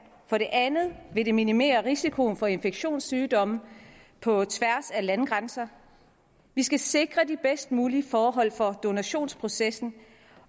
for det andet vil det minimere risikoen for infektionssygdomme på tværs af landegrænser vi skal sikre de bedst mulige forhold for donationsprocessen